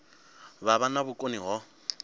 vha vha na vhukoni ho